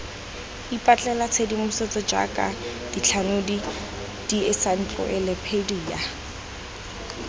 ipatlela tshedimosetso jaaka dithanodi diensaetlelopedia